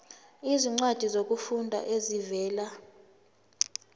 izincwadi zokufunda ezivela